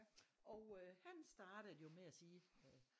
Og øh han startede jo med at sige